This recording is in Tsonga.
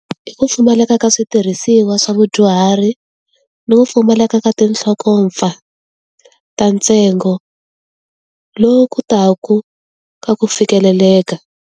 Hi ku pfumaleka ka switirhisiwa swa vadyuhari, ni ku pfumaleka ka tinhlokopfa, ta ntsengo, lowu kotaku ka ku fikeleleka.